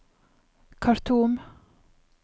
Khartoum